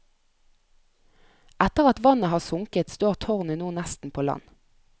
Etter at vannet har sunket står tårnet nå nesten på land.